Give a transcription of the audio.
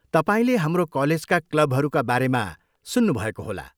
तपाईँले हाम्रो कलेजका क्लबहरूका बारेमा सुन्नुभएको होला।